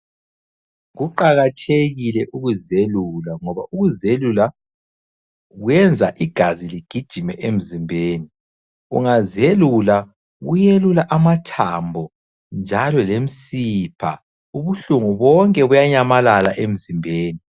Kuqakathekile ukuzelula ngoba ukuzelula kwenza igazi ligijime emzimbeni. Ungazelula kuyelula amathambo njalo lemsipha. Ubuhlungu bonke buyanyamalala emzimbeni.